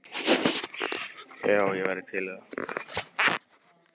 Já, ég væri til í það.